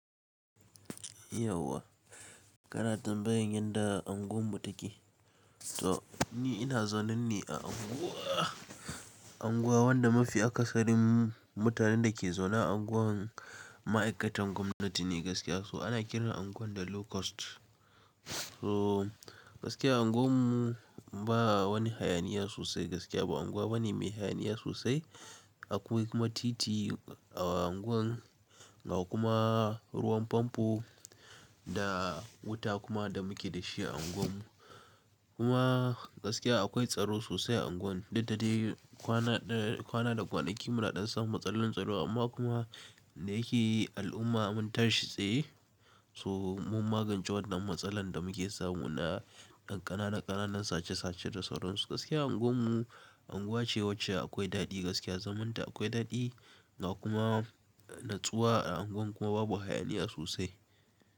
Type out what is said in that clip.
Yauwa kana tambayan yadda unguwar mu take. To ni ina zaune ne a unguwa. Unguwa wanda mafi akasarin mutanen da ke zaune a unguwar ma'aikatan gwamnati ne gaskiya, so ana kiran unguwar da Low Cost. So gaskiya unguwar mu ba wani hayaniya sosai gaskiya ba, unguwa bani mai hayaniya sosai. Akwai kuma titi a unguwar, ga kuma ruwan famfo da wuta kuma da muke da shi a unguwar mu. Kuma gaskiya akwai tsaro sosai a unguwar, duk da dai kwana, kwana da kwanaki muna ɗan samun matsalolin tsaro, amma kuma da yake al'umma mun tashi tsaye, so mun magance wannan matsalar da muke samu na yan ƙanana ƙananan sace sace da sauransu. Gaskiya unguwar mu unguwa ce wacce akwai daɗi gaskiya, zamanta akwai daɗi, kuma nutsuwa a unguwar kuma babu hayaniya sosai.